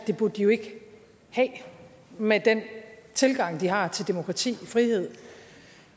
det burde de jo ikke have med den tilgang de har til demokrati frihed